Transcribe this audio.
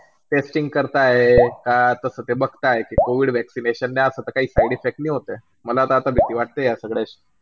Testing करतायत. कसं ते बघतायत COVID vaccination ने असा ता काई side effect ने होतं. मला आता भीती वाटतेय या सांगड्या शी